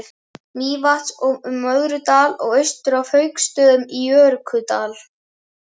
Mývatns, um Möðrudal og austur að Hauksstöðum á Jökuldal.